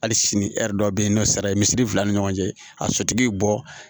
Hali sini dɔ bɛ yen nɔ sara ye misiri fila ni ɲɔgɔn cɛ a sotigi ye bɔ